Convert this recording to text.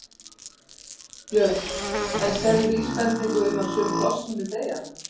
Björn: En sérðu vísbendingu um að sum pláss muni deyja?